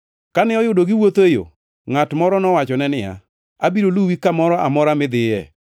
Kane oyudo giwuotho e yo, ngʼat moro nowachone niya, “Abiro luwi kamoro amora midhiye.”